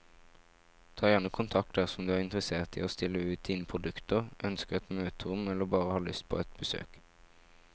Ta gjerne kontakt dersom du er interessert i å stille ut dine produkter, ønsker et møterom eller bare har lyst på et besøk.